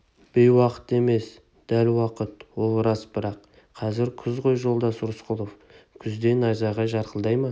бейуақыт емес дәл уақыт ол рас бірақ қазір күз ғой жолдас рысқұлов күзде найзағай жарқылдай ма